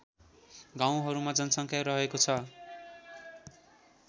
गाउँहरूमा जनसङ्ख्या रहेको छ